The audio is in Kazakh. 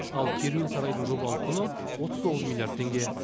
ал керуен сарайдың жобалық құны отыз тоғыз миллиард теңге